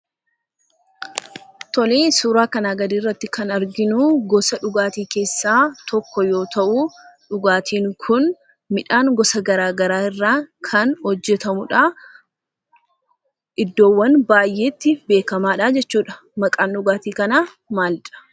Tolee, suuraa kanaa gadiirratti kan arginu gosa dhugaatii keessaa tokko yoo ta'u dhugaatiin kun midhaan gosa garaa garaa irraa kan hojjetamudha. Iddoowwan baay'eetti beekamaadha jechuudha. Maqaan dhugaatii kanaa maalidha?